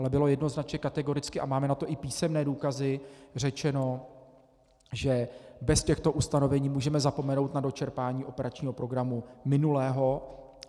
Ale bylo jednoznačně, kategoricky a máme na to i písemné důkazy, řečeno, že bez těchto ustanovení můžeme zapomenout na dočerpání operačního programu minulého.